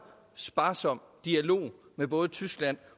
sparsom dialog med både tyskland